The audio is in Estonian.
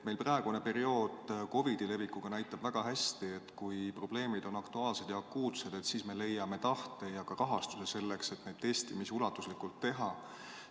Meil praegune periood, COVID‑i levik, näitab väga hästi, et kui probleemid on aktuaalsed ja akuutsed, siis me leiame tahte ja ka rahastuse selleks, et ulatuslikult testimisi teha.